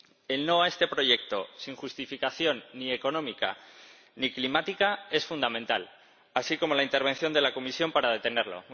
El no a este proyecto sin justificación ni económica ni climática es fundamental, así como la intervención de la Comisión para detenerlo.